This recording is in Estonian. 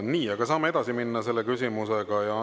Nii, aga saame edasi minna selle küsimusega.